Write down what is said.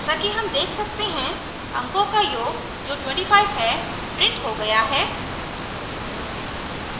जैसा कि sum देख सकते हैं अंकों का योग जो 25 है printed हो गया है